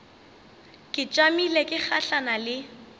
ke tšamile ke gahlana le